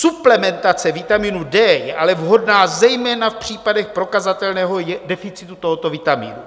Suplementace vitaminu D je ale vhodná zejména v případech prokazatelného deficitu tohoto vitaminu.